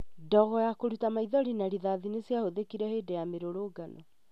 Ndogo ya kũruta maithori na rĩthathi nĩ ciahũthĩkire hĩndĩ ya mũrũrũngano